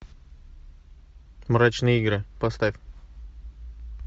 мрачные игры поставь